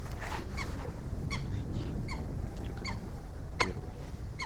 найди телеканал первый